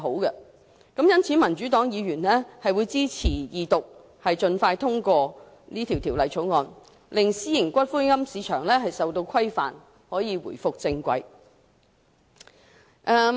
因此，民主黨議員支持二讀，盡快通過《條例草案》，令私營龕場市場受到規管及重回正軌。